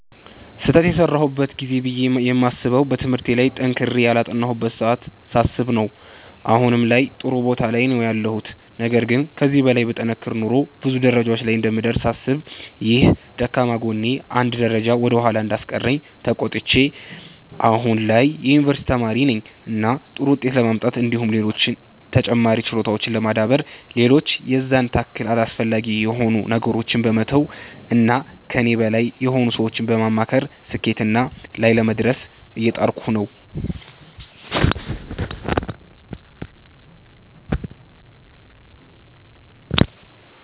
ስህተት የሰራሁበት ጊዜ ብዬ የማስበዉ በትምህርቴ ላይ ጠንክሬ ያላጠናሁበትን ሰዓት ሳስብ ነዉ አሁን ላይም ጥሩ ቦታ ላይ ነዉ ያለሁት ነገር ግን ከዚህ በላይ ብጠነክር ኖሮ ብዙ ደረጃ ላይ እንደምደርስ ሳስብ ይህ ደካማ ጎኔ አንድ ደረጃ ወደ ኋላ እንዳስቀረኝ ተቆጭቼ አሁን ላይ የዩኒቨርሲቲ ተማሪ ነኝ እና ጥሩ ዉጤት ለማምጣት እንዲሁም ሌሎች ተጨማሪ ችሎታዎችን ለማዳበር ሌሎች የዛን ታክል አስፈላጊ ያልሆኑ ነገሮችን በመተዉ እና ከኔ በላይ የሆኑ ሰዎችን በማማከር ስኬትና ላይ ለመድረስ እየጣርኩ ነዉ።